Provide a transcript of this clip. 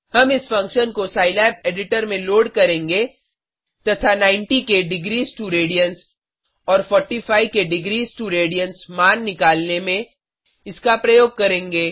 हम इस फंक्शन को सिलाब एडिटर में लोड करेंगे तथा 90 के degrees2रेडियन्स और 45 के degrees2रेडियन्स मान निकालने में इसका प्रयोग करेंगे